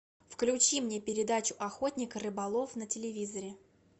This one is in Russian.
включи мне передачу охотник и рыболов на телевизоре